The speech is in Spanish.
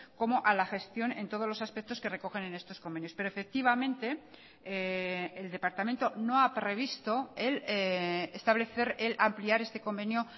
como a la gestión en todos los aspectos que recogen en estos convenios pero efectivamente el departamento no ha previsto establecer el ampliar este convenio